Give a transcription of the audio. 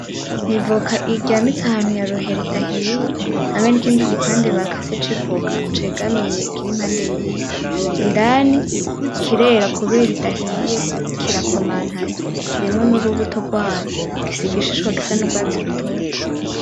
N'ivoka iryamitse ahantu ya ruheri idahiye, hamwe nikindi gipande bakase civoka cegamiye kiri impande yiyo. indani kirera kubera idahiye kirakomantaye kirimwo nurubuto rwayo gifise igishishwa gisa nurwatsi rutoto.